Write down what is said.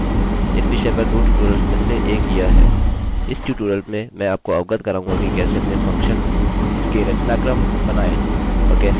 इस ट्यूटोरियल में मैं आपको अवगत कराऊँगा कि कैसे अपने फंक्शन function इसके रचनाक्रम बनाएँऔर कैसे एक या एक से अधिक वेल्यूमानोंको इनपुट करें